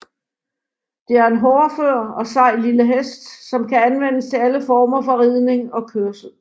Det er en hårdfør og sej lille hest som kan anvendes til alle former for ridning og kørsel